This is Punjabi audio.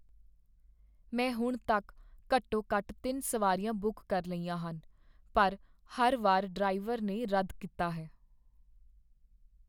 ਮੈਂ ਹੁਣ ਤੱਕ ਘੱਟੋ ਘੱਟ ਤਿੰਨ ਸਵਾਰੀਆਂ ਬੁੱਕ ਕਰ ਲਈਆਂ ਹਨ, ਪਰ ਹਰ ਵਾਰ ਡਰਾਈਵਰ ਨੇ ਰੱਦ ਕੀਤਾ ਹੈ